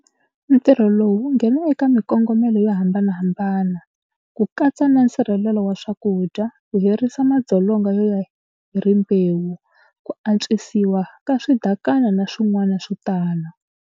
Ntirho lowu wu nghena eka mikongomelo yo hambanahambana, ku katsa na nsirhelelo wa swakudya, ku herisa madzolonga yo ya hi rimbewu, ku antswisiwa ka swidakana na swin'wana swo tala.